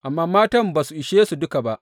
Amma matan ba su ishe su duka ba.